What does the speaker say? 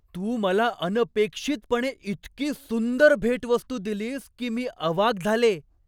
तू मला अनपेक्षितपणे इतकी सुंदर भेटवस्तू दिलीस की मी अवाक झाले.